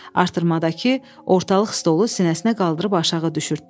Artırmadakı ortalıq stolu sinəsinə qaldırıb aşağı düşürtdü.